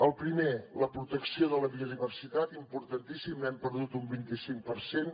el primer la protecció de la biodiversitat importantíssim n’hem perdut un vint i cinc per cent